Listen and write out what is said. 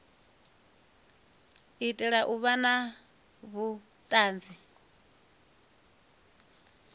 itela u vha na vhuanzi